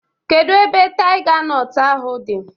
Kedu ebe taiga nọt ahụ dị?